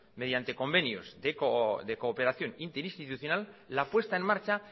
mediante convenios de cooperación interinstitucional la puesta en marcha